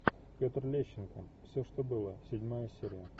петр лещенко все что было седьмая серия